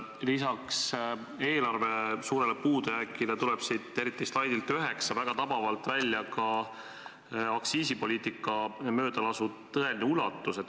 Lisaks eelarve suurele puudujäägile tuleb eriti slaidilt 9 väga tabavalt välja ka aktsiisipoliitika möödalasu tõeline ulatus.